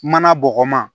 Mana bɔgɔman